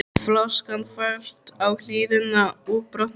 Flaskan valt á hliðina og brotnaði.